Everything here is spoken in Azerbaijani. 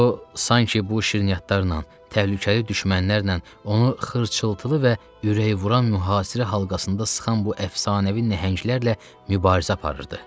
O sanki bu şirniyyatlarla, təhlükəli düşmənlərlə, onu xırçıltılı və ürəyvuran mühasirə halqasında sıxan bu əfsanəvi nəhənglərlə mübarizə aparırdı.